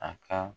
A ka